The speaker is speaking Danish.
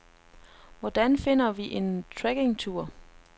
Hvordan finder vi en trekkingtur?